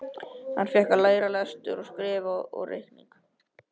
Hann fékk að læra lestur og skrift og reikning.